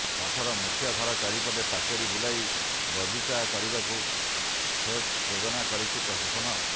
ମଠର ମୁଖ୍ୟ ଘର ଚାରିପଟେ ପାଚେରୀ ବୁଲାଇ ବଗିଚା କରିବାକୁ ଫ୍ରେସ୍ ଯୋଜନା କରିଛି ପ୍ରଶାସନ